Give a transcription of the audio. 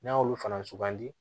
N'a y'olu fana sugandi